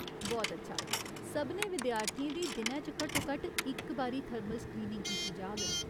बहुत अच्छा ! सभनें विद्यार्थियें दी दिनै च घट्टोघट्ट इक बारी थर्मल स्क्रीनिंग कीती जाह्ग।